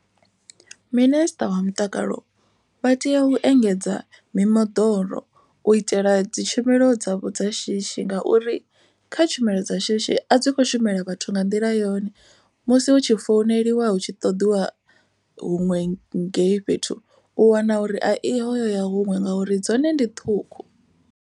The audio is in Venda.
Minister wa mutakalo vha tea u engedza mimoḓoro u itela dzi tshumelo dzavho dza shishi. Ngauri kha tshumelo dza shishi a dzi kho shumela vhathu nga nḓila yone. Musi hu tshi founeliwa hu tshi ṱoḓiwa huṅwe ngei fhethu u wana uri a i ho yo ya huṅwe ngauri dzone ndi ṱhukhu.